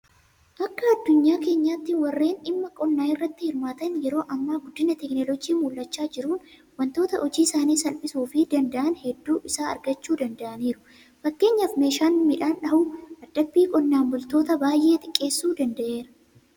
Akka addunyaa keenyaatti warreen dhimma qonnaa irratti hirmaatan yeroo ammaa guddina Teekinooloojii mul'achaa jiruun waantota hojii isaanii salphisuufii danda'an hedduu isaa argachuu danda'aniiru. Fakkeenyaaf meeshaan midhaan dhahu dadhabbii qonnaan bultootaa baay'ee xiqqeessuu danda'eera.